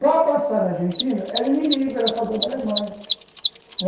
Para passar na Argentina era inimigo, era a favor da Alemanha.